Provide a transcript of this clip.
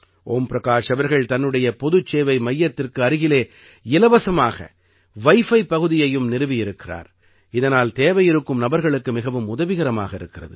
ஒம் பிரகாஷ் அவர்கள் தன்னுடைய பொதுச் சேவை மையத்திற்கு அருகிலே இலவசமாக வைஃபை பகுதியையும் நிறுவி இருக்கிறார் இதனால் தேவையிருக்கும் நபர்களுக்கு மிகவும் உதவிகரமாக இருக்கிறது